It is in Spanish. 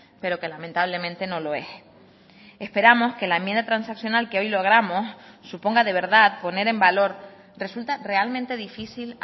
pero que lamentablemente no lo es esperamos que la enmienda transaccional que hoy logramos suponga de verdad poner en valor resulta realmente difícil